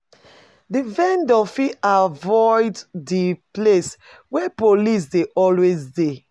Di vendor fit avoid di places where police dey always de